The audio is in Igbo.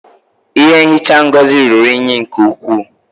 Ihe nhicha Ngozi ruru unyi nke ukwuu